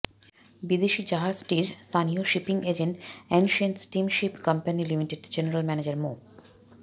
বিদেশি জাহাজটির স্থানীয় shipping agent ancient steam ship company লিমিটেডের জেনারেল ম্যানেজার মো